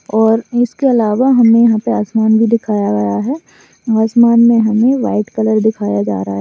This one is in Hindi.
और इसके अलावा हमे यहाँ पर आसमान भी दिखाया गया है आसमान मे हमे व्हाइट कलर दिखाया जा रहा--